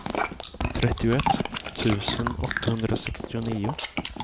trettioett tusen åttahundrasextionio